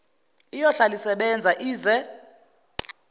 iyohlala isebenza ize